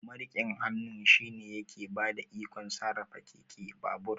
Mariƙin hannu shine yake bada ikon sarrafa keke, babur